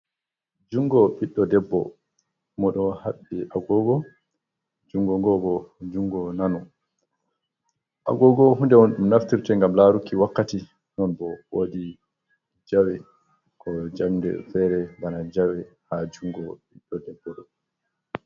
Jungo ɓiɗɗo debbo mo ɗo haɓɓi agogo, jungo ngo bo jungo nano. Agogo hunde on ɗum naftirte ngam laruki wakkati non bo wodi jawe ko jamɗe fere bana jawe ha jungo ɓiɗɗo debbo ɗo.